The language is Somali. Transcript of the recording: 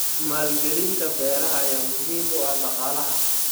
Maalgelinta beeraha ayaa muhiim u ah dhaqaalaha.